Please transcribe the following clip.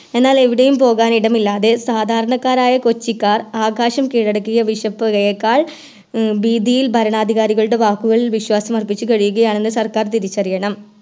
എന്നാൽ എവിടെയും പോകാനിടമില്ലാതെ സാധാരണക്കാരായ കൊച്ചിക്കാർ ആകാശം കീഴടക്കിയ വിഷപ്പുകയെക്കാൾ ഭീതിയിൽ ഭരണാധികാരികളുടെ വാക്കുകൾ വിശ്വാസമർപ്പിച്ച് കഴിയുകയാണെന് സർക്കാർ തിരിച്ചറിയണം